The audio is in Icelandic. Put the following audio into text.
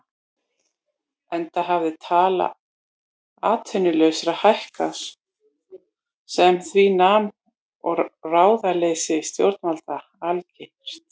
Enda hafði tala atvinnulausra hækkað sem því nam og ráðaleysi stjórnvalda algert.